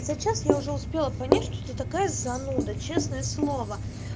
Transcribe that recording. за час я уже успела понять что такая зануда честное слово